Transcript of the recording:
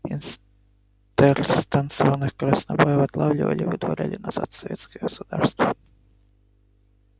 интерстанционных краснобаев отлавливали и выдворяли назад в советское государство